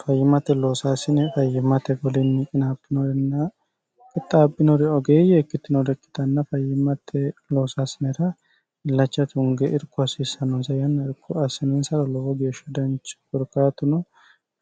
fayyimmate loosaasine fayyimmate kulinni qinaabinorinna kixxaabinori ogeeyye ikkittinore ikkitanna fayyimmate loosaasinera illachata tunge irko hasiissannonsa yanna irko assininsaro lowo geeshsha danchaho korkaatuno